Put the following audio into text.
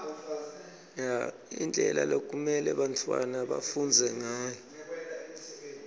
indlela lekumelwe bantfwana bafundze ngayo